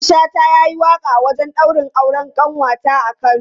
Mamman Shata ya yi waƙa a wajen daurin auren ƙanwata a Kano.